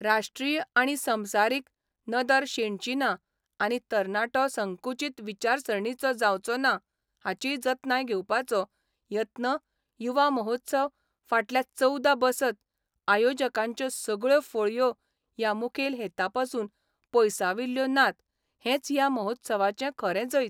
राष्ट्रीय आनी संबसारीक नदर शेणची ना आनी तरणाटो संकुचीत विचारसरणीचो जावचो ना हाचीय जतनाय घेवपाचो यत्न युवा महोत्सव फाटल्या चवदा बसत आयोजकांच्यो सगळ्यो फळयो ह्या मुखेल हेतांपसून पयसाविल्ल्यो नात हेंच ह्या महोत्सवाचें खरें जैत.